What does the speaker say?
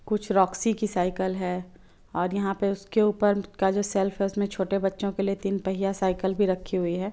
कुछ रॉक्सी की साइकिल हैं और यहाँ पर उसके ऊपर का जो सेल्फ हैं उसमे छोटे बच्चों के लिए तीन पहिया साइकल भी रखी हुई हैं।